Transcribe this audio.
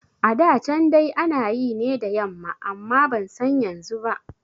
A da can dai ana yi ne da yamma amma ban san yanzu ba